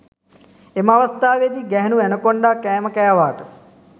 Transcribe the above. එම අවස්ථාවේදී ගැහැණු ඇනකොන්ඩා කෑම කෑවාට